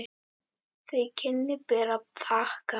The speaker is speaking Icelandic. Þau kynni ber að þakka.